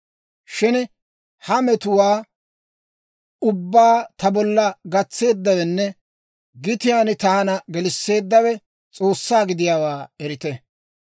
Shin ha metuwaa ubbaa ta bolla gatseeddawenne gitiyaan taana gelisseeddawe S'oossaa gidiyaawaa erite.